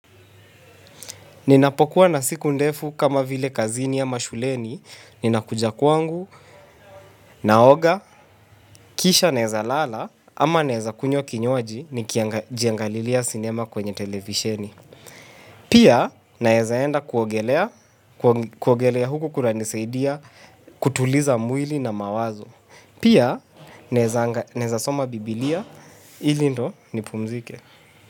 Ninapokuwa na siku ndefu kama vile kazini ama shuleni, ninakuja kwangu, naoga, kisha naeza lala, ama naeza kunywa kinywaji, nikijiangalilia sinema kwenye televisheni. Pia, naeza enda kuogelea huku kunanisaidia, kutuliza mwili na mawazo. Pia, naeza soma biblia, ili ndio nipumzike.